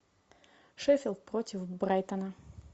шеффилд против брайтона